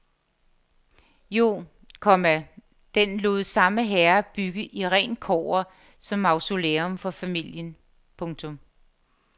Jo, komma den lod samme herre bygge i rent kobber som mausolæum for familien. punktum